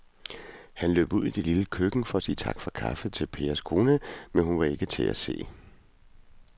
Han løb ud i det lille køkken for at sige tak for kaffe til Pers kone, men hun var ikke til at se.